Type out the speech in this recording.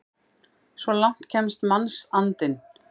Svo langt kemst mannsandinn!